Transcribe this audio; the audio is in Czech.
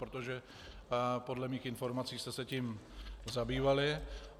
Protože podle mých informací jste se tím zabývali.